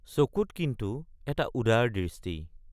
চকুত কিন্তু এটা উদাৰ দৃষ্টি।